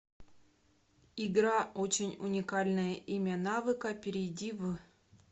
игра очень уникальное имя навыка перейди в